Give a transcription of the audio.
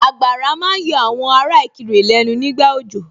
Àgbàrá ma ń yọ àwọn ará Ìkirè lẹ́nu nígbà òjò